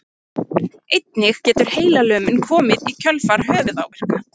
Einnig getur heilalömun komið í kjölfar höfuðáverka.